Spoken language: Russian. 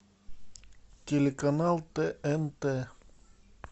телеканал тнт